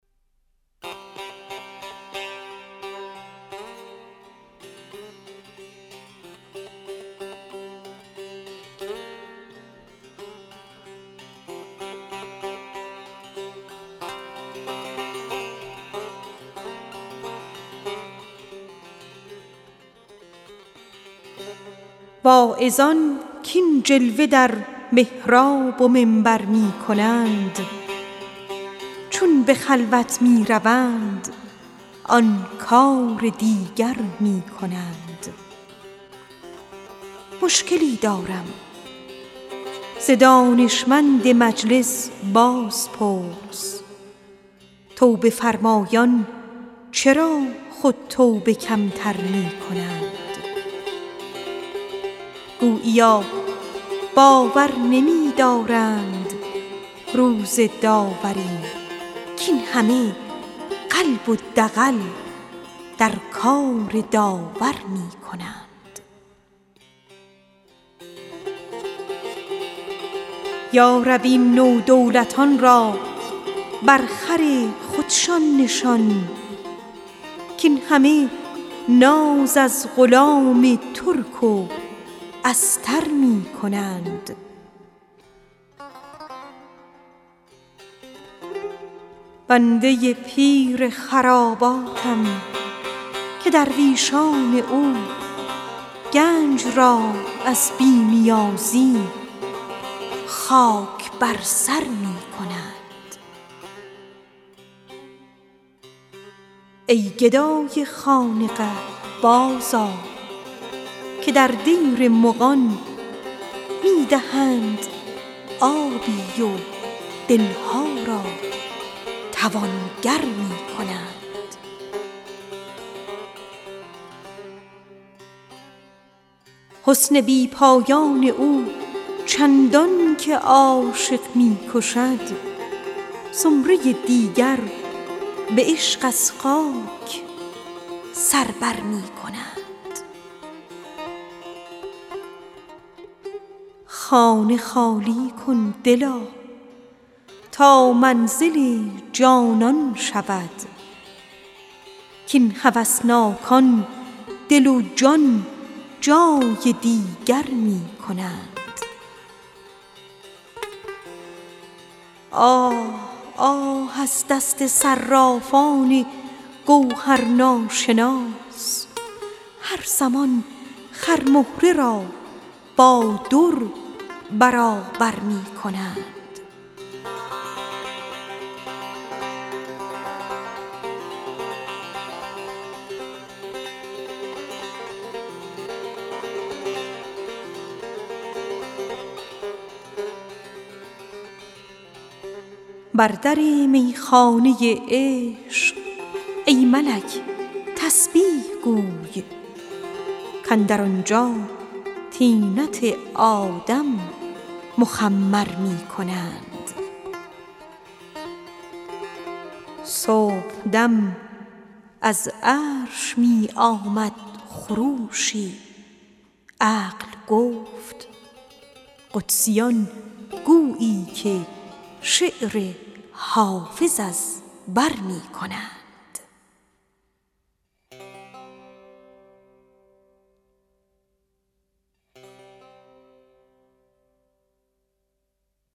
واعظان کاین جلوه در محراب و منبر می کنند چون به خلوت می روند آن کار دیگر می کنند مشکلی دارم ز دانشمند مجلس بازپرس توبه فرمایان چرا خود توبه کم تر می کنند گوییا باور نمی دارند روز داوری کاین همه قلب و دغل در کار داور می کنند یا رب این نودولتان را با خر خودشان نشان کاین همه ناز از غلام ترک و استر می کنند ای گدای خانقه برجه که در دیر مغان می دهند آبی و دل ها را توانگر می کنند حسن بی پایان او چندان که عاشق می کشد زمره دیگر به عشق از غیب سر بر می کنند بر در می خانه عشق ای ملک تسبیح گوی کاندر آنجا طینت آدم مخمر می کنند صبح دم از عرش می آمد خروشی عقل گفت قدسیان گویی که شعر حافظ از بر می کنند